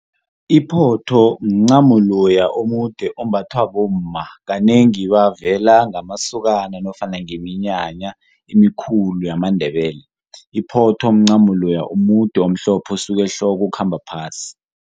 Iphotho mncamo loya omude ombathwa bomma kanengi bavela ngamasokana nofana ngeminyanya emikhulu yamaNdebele. Iphotho mncamo loya omude omude osuka ehloko okhamba phasi.